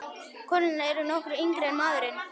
Konurnar eru nokkru yngri en maðurinn.